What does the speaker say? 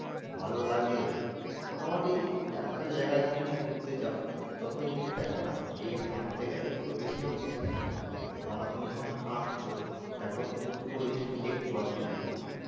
ভালোও লাগে মোটামুটি একটা জায়গায় তুমি যদি ঘুরতে যাও যত জিনিস দেখো না এই হাঁটতে গেলে পুরো বেশির ভাগ জিনিস দেখা যায়। কেন না তুমি যখন হাঁটছো তখন তো পুরো জিনিসটা তুমি দেখতে পাচ্ছ নিজের চোখে।